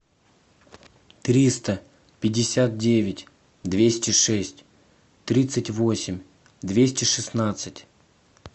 триста пятьдесят девять двести шесть тридцать восемь двести шестнадцать